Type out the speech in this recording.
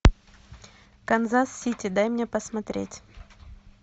канзас сити дай мне посмотреть